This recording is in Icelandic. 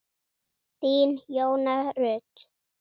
Þín, Jóna Rut.